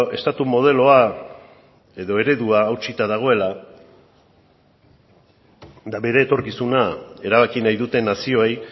estatu modeloa edo eredua hautsita dagoela eta bere etorkizuna erabaki nahi duten nazioei